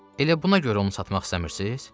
Elə buna görə onu satmaq istəmirsiz?